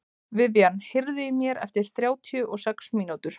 Vivian, heyrðu í mér eftir þrjátíu og sex mínútur.